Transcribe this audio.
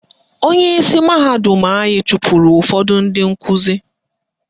Onyeisi mahadum anyị chụpụrụ ụfọdụ ndị nkuzi